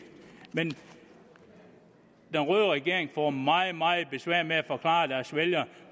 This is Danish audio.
den røde regering får meget meget besvær med at forklare deres vælgere